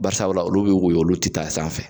Barisa olu bɛ woyo olu tɛ taa sanfɛ.